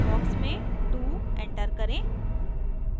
box में 2 enter करें